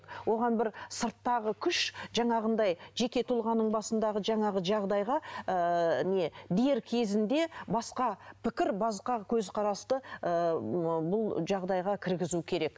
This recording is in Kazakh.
оған бір сырттағы күш жаңағындай жеке тұлғаның басындағы жаңағы жағдайға ыыы не дер кезінде басқа пікір басқа көзқарасты ыыы бұл жағдайға кіргізу керек